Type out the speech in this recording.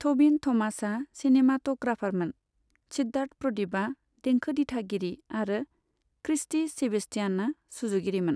टबिन थमासआ चिनेमेट'ग्रापारमोन, सिद्धार्थ प्रदिपआ देंखो दिथागिरि आरो क्रिस्टि सेबेस्टियाना सुजुगिरिमोन।